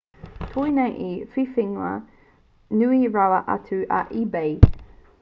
koinei te whiwhinga nui rawa atu a ebay